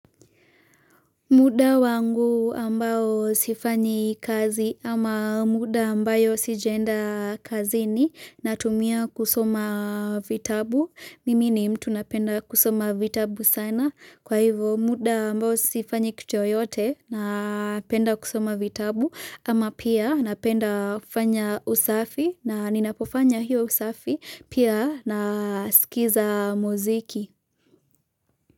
Muda wangu ambao sifanyi kazi ama muda ambayo sijaenda kazini natumia kusoma vitabu, mimi ni mtu napenda kusoma vitabu sana kwa hivyo muda ambao sifanyi kitu yoyote, na penda kusoma vitabu ama pia napenda fanya usafi na ninapofanya hiyo usafi pia nasikiza muziki.